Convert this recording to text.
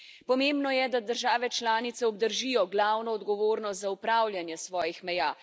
Pomembno je, da države članice obdržijo glavno odgovornost za upravljanje svojih meja.